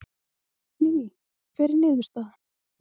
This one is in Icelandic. Lillý, hver er niðurstaðan?